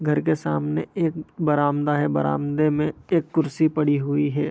घर के सामने एक बरामदा है बरामदे में एक कुर्सी पड़ी हुई है।